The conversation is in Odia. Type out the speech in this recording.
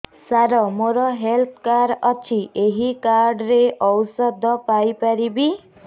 ସାର ମୋର ହେଲ୍ଥ କାର୍ଡ ଅଛି ଏହି କାର୍ଡ ରେ ଔଷଧ ପାଇପାରିବି